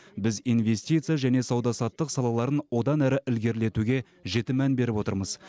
біз инвестиция және сауда саттық салаларын одан әрі ілгерілетуге жіті мән беріп отырмыз